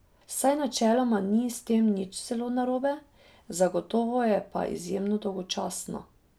Saj načeloma ni s tem nič zelo narobe, zagotovo je pa izjemno dolgočasno.